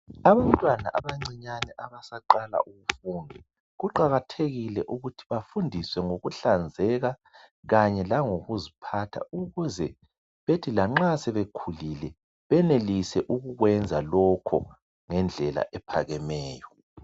Abantwana abancinyane abasaqala ukufunda. Kuqakathekile ukuthi bafundiswe ngokuhlanzeka kanye langokuziphatha ukuze bethi lanxa sebekhulile benelise ukukwenza lokho ngendlela ephakemeyo.